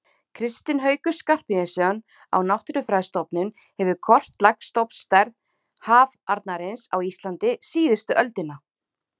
Kristinn Haukur Skarphéðinsson á Náttúrufræðistofnun hefur kortlagt stofnstærð hafarnarins á Íslandi síðustu öldina.